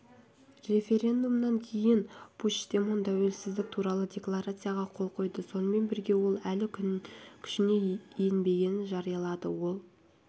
референдумнан кейін пучдемон тәуелсіздік туралы декларацияға қол қойды сонымен бірге ол әлі күшіне енбегенін жариялады ол